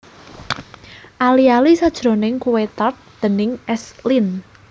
Ali ali sajroning kuwé tart déning S Lin